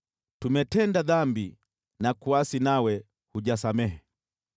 “Tumetenda dhambi na kuasi nawe hujasamehe.